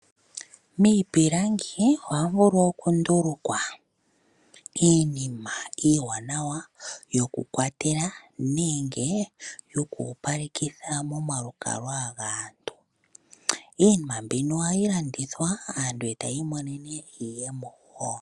Miipilangi ohamu vulu oku ndulwaka iinima iiwanawa yoku kwatela, nenge yo kopalekitha momalukalwa gaantu iinima mbino ohayi landithwa aantu eta yi monene iiyemo woo.